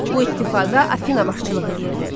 Bu ittifaqa Afina başçılıq eləyirdi.